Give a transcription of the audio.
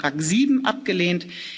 Änderungsantrag 7 abgelehnt